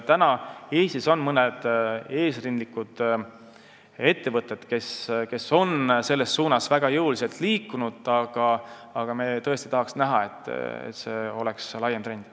Praegu on Eestis mõned eesrindlikud ettevõtted, kes on jõuliselt selles suunas liikunud, aga me tahame tõesti näha, et see oleks laiem trend.